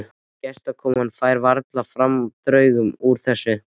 Gestakoman færi varla framhjá draugnum úr þessu.